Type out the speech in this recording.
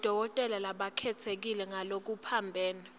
bodokotela labakhetsekile ngalokuphambene